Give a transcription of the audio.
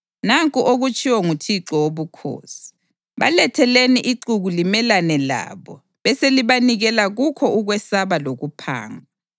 Nanku okutshiwo nguThixo Wobukhosi: Baletheleni ixuku limelane labo beselibanikela kukho ukwesaba lokuphangwa.